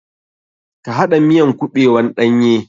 Ka haɗa miyan kuɓewan ɗanye.